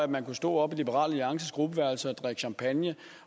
man kunne stå oppe i liberal alliances gruppeværelse og drikke champagne